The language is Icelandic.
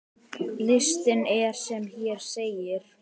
Listinn er sem hér segir